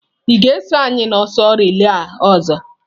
Ị ga-eso anyị n'ọsọ reila ọzọ.